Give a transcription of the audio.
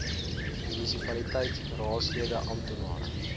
munisipaliteit raadslede amptenare